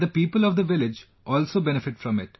And the people of the village also benefit from it